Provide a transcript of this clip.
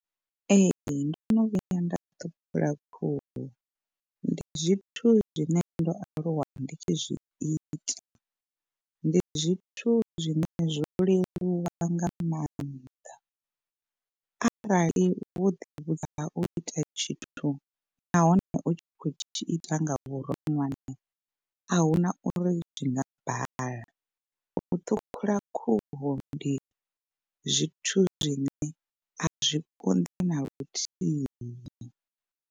Ee ndono vhuya nda ṱhukhula khuhu ndi zwithu zwine ndo aluwa ndi tshi zwi ita. Ndi zwithu zwine zwo leluwa nga maanḓa arali wo ḓi vhudza u ita tshithu nahone u tshi khou tshi ita nga vhuronwane, a huna uri zwi nga bala u ṱhukhula khuhu ndi zwithu zwine a zwi konḓi na luthihi.